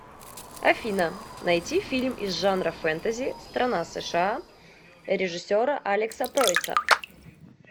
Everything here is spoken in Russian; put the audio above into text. афина найти фильм из жанра фэнтэзи страна сша режиссера алекса пройса